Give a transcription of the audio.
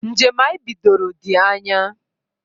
Njem anyị bidoro dị anya